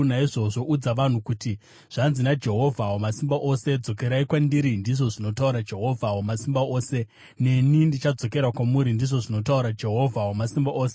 Naizvozvo udza vanhu kuti: Zvanzi naJehovha Wamasimba Ose: ‘Dzokerai kwandiri,’ ndizvo zvinotaura Jehovha Wamasimba Ose, ‘neni ndichadzokera kwamuri,’ ndizvo zvinotaura Jehovha Wamasimba Ose.